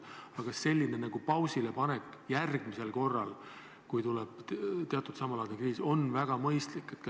Aga kas selline pausilepanek järgmisel korral, kui tuleb samalaadi kriis, on väga mõistlik?